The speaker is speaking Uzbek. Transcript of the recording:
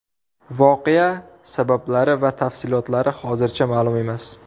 Voqea sabablari va tafsilotlari hozircha ma’lum emas.